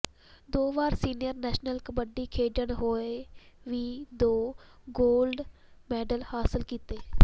ਦੋ ਵਾਰ senior national kabaddi ਖੇਡਦੇ ਹੋਏ ਵੀ ਦੋ ਗੋਲਡ ਮੈਡਲ ਹਾਸਲ ਕੀਤੇ